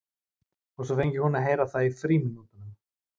Og svo fengi hún að heyra það í frímínútunum.